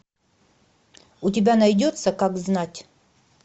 у тебя найдется как знать